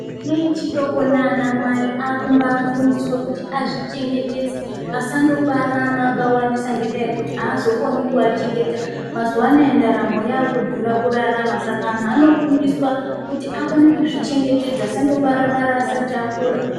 Vana vechidoko nana mai vakubafundiswa kuti vazvichengetedze Asandobara ana akawandisa ngekuti azokoni kuvachengeta mazuva anawa ndaramo yakudhura kurarama Saka antu Anofundiswa kuti akone kuzvichengwtedza asangobara bara asati akura.